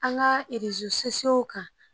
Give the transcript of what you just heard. An ka kan